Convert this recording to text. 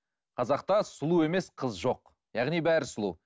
қазақта сұлу емес қыз жоқ яғни бәрі сұлу